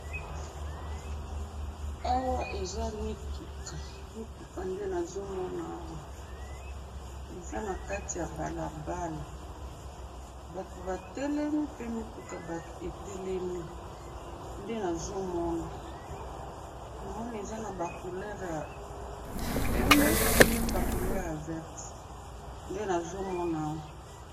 awa eza mituka mituka nde nazomona awa eza nakati ya balabala batu batelemi pe mituka etelemi namoni eza naba couleur ya pembe naba couleur ya verte nde nazomona awa